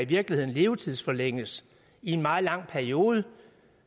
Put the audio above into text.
virkeligheden levetidsforlænges i en meget lang periode